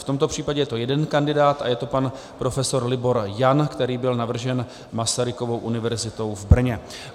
V tomto případě je to jeden kandidát a je to pan prof. Libor Jan, který byl navržen Masarykovou univerzitou v Brně.